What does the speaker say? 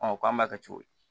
k'an b'a kɛ cogo di